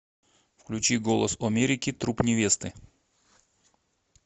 включи голос омерики труп невесты